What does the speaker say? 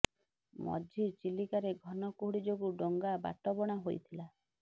ମଝି ଚିଲିକାରେ ଘନ କୁହୁଡ଼ି ଯୋଗୁ ଡଙ୍ଗା ବାଟବଣା ହୋଇଥିଲା